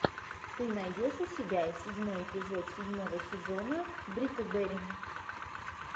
ты найдешь у себя седьмой эпизод седьмого сезона бриклберри